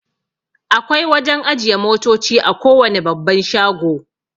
Akwai wajan ajiye motoci a kowane babban shago